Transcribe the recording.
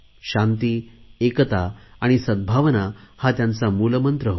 शांती एकता आणि सद्भावना हा त्यांचा मूलमंत्र होता